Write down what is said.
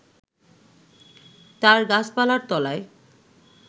তার গাছপালার তলায়